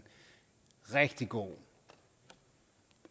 rigtig god